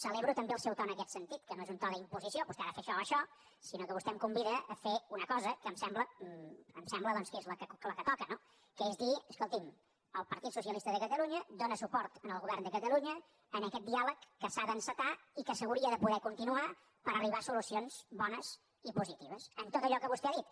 celebro també el seu to en aquest sentit que no és un to d’imposició vostè ha de fer això o això sinó que vostè em convida a fer una cosa que em sembla doncs que és la que toca que és dir escolti’m el partit socialista de catalunya dóna suport al govern de catalunya en aquest diàleg que s’ha d’encetar i que s’hauria de poder continuar per arribar a solucions bones i positives en tot allò que vostè ha dit